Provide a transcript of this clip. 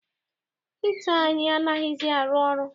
Hita anyị anaghịzi arụ ọrụ.